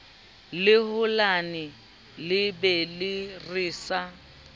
le holane lebelo re sa